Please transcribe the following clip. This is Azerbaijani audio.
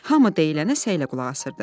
Hamı deyilənə səylə qulaq asırdı.